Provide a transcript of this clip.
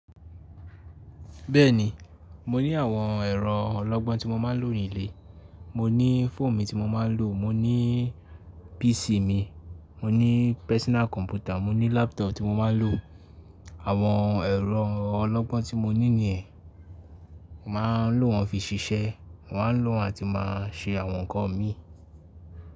Bẹ́ẹ̀ ni, mo ní àwọn ẹ̀rọ ọlọ́gbọ́n tí mo máa ń lò ní ilé. Mo ní fóònù mi tí mo máa ń lò, mo ní PC mi, mo ní personal computer, mo ní laptop tí mo máa ń lò. Àwọn ẹ̀rọ ọlọ́gbọ́n tí mo ní nìyẹn, màá lò wọ́n fi ṣiṣẹ́, màá ń lò wọ́n àti máa ṣe àwọn ǹkan mi.